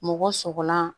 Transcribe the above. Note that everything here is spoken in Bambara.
Mɔgɔ sɔgɔlan